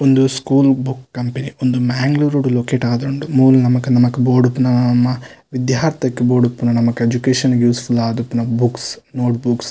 ಉಂದು school book company ಉಂದು ಮ್ಯಾಂಗ್ಳೂರುಡು ಲೊಕೇಟ್ ಆದುಂಡು ಮೂಲು ನಮಕ್ ನಮಕ್ ಬೋಡುಪ್ಪುನ ವಿದ್ಯಾರ್ತೆಗ್ ಬೋಡಿಪ್ಪುನ ನಮಕ್ ಎಜ್ಯುಕೇಶನ್ ಗು ಯೂಸ್ಫುಲ್ ಆದುಪ್ಪುನ ಬುಕ್ಸ್ ನೋಟ್ ಬುಕ್ಸ್ .